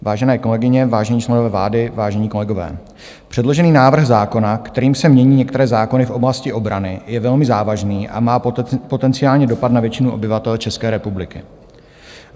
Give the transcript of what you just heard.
Vážené kolegyně, vážení členové vlády, vážení kolegové, předložený návrh zákona, kterým se mění některé zákony v oblasti obrany, je velmi závažný a má potenciální dopad na většinu obyvatel České republiky.